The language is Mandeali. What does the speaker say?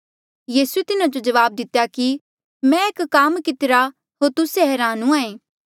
यीसूए तिन्हा जो जवाब दितेया कि मैं एक काम कितिरा होर तुस्से हरान हूंहां ऐें